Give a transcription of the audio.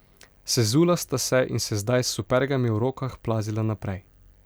Sezula sta se in se zdaj s supergami v rokah plazila naprej.